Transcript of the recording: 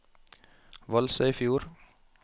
Valsøyfjord